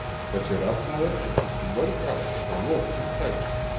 þessi rafhlaða endist í mörg ár en að lokum tæmist hún